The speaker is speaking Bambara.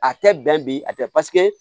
A tɛ bɛn bi a tɛ